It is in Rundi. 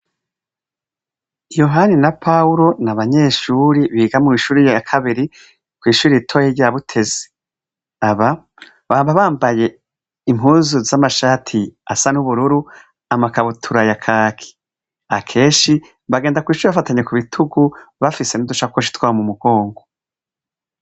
Yohani na Pawuro ni abanyeshuri biga mw'ishuri ya kabiri, kw'ishuri ritoya rya Butezi. Aba, baba bambaye impuzu z'amashati asa n'ubururu, amakabutura ya kaki. Akenshi, bagenda kw'ishuri bafatanye ku bitugu, bafise n'udusakoshi twabo mu mugongo.